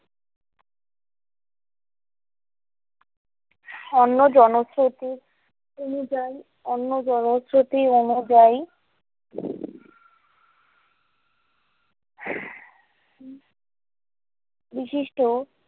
অন্য জনখ্যাতির অনুযায়ী অন্য জনখ্যাতির অনুযায়ী বিশিষ্ট।